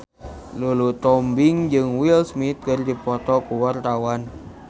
Lulu Tobing jeung Will Smith keur dipoto ku wartawan